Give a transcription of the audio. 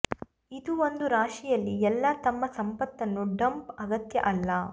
ಇದು ಒಂದು ರಾಶಿಯಲ್ಲಿ ಎಲ್ಲಾ ತಮ್ಮ ಸಂಪತ್ತನ್ನು ಡಂಪ್ ಅಗತ್ಯ ಅಲ್ಲ